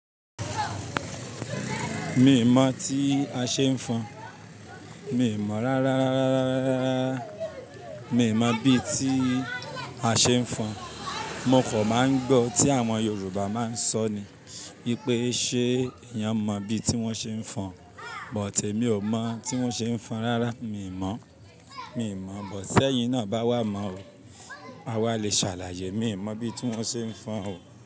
Mi ò mọ̀ tí a ṣe ń fọn. Mi i mọ̀ rárá, rárá, rárá, rárá. Mi mọ̀ bí ti a ṣe ń fọn. Mo kò máa ń gbọ́ tí àwọn Yorùbá máa ń sọ ni. Wípé ṣe eyan mọ bí ti wọn ṣe ń fọn. Bùt emi ò mọ̀ tí wón ṣe ń fọn rárá. Mi ò mọ̀, mi ò mọ̀. Bùt sẹ́yìn náà bá wá mọ̀ o, a wà lè ṣàlàyé. Mi mọ̀ bí ti wón ṣe ń fọn o.